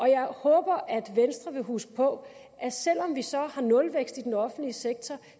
jeg håber at venstre vil huske på at selv om vi så har nulvækst i den offentlige sektor